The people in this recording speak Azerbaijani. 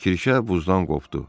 Kirşə buzdan qopdu.